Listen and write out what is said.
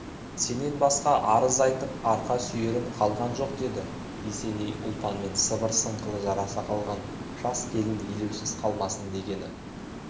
сенен басқа арыз айтып арқа сүйерім қалған жоқ деді есеней ұлпанмен сыбыр-сыңқылы жараса қалған жас келін елеусіз қалмасын дегені